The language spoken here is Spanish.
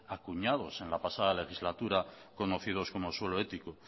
acuñados en la pasada legislatura conocidos como suelo ético